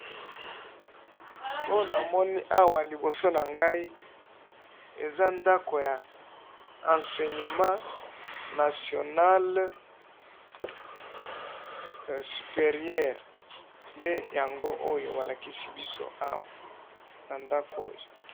oyo na moni awa na liboso na ngayi eza ndaku ya enseignement nationale superieur ,nde yango oyo ba lakisi biso awa na ndaku oyo